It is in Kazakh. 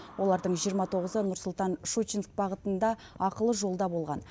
олардың жиырма тоғызы нұр сұлтан щучинск бағытында ақылы жолда болған